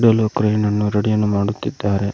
ಹುಲ್ಲು ಕ್ರೆ ನನ್ನು ರೆಡಿಯನ್ನು ಮಾಡುತ್ತಿದ್ದಾರೆ.